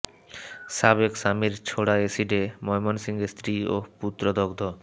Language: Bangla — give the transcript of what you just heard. সাবেক স্বামীর ছোড়া এসিডে ময়মনসিংহে স্ত্রী ও পুত্র দগ্ধ